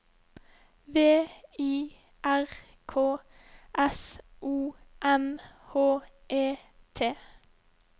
V I R K S O M H E T